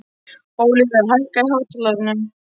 Ólíver, hækkaðu í hátalaranum.